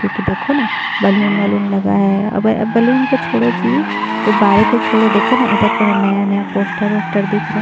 क्यूंकी देखो न बैलून वलून लगा है आ बैलून को छोड़ो जी गुब्बारे को छोड़ो देखो न इधर पूरा नया-नया पोस्टर उस्टर दिख रहा है।